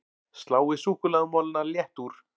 Sláið súkkulaðimolana létt úr